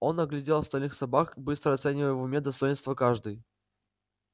он оглядел остальных собак быстро оценивая в уме достоинства каждой